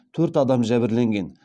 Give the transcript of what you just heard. төрт адам жәбірленген